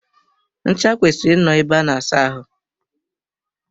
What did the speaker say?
Ncha kwesịrị I nọ ebe a na asa ahụ.